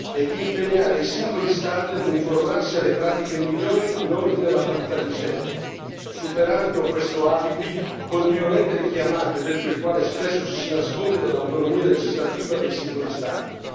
e di impegnare i singoli Stati a uniformarsi alle pratiche migliori in ordine alla parità di genere, superando questo alibi continuamente richiamato e dietro il quale spesso ci si nasconde dell'autonomia legislativa dei singoli Stati.